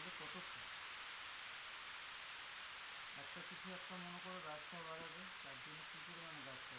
একটা কিছু একটা মনে করো রাস্তা বাড়াবে তার জন্যে কি পরিমাণে গাছ কাটছে,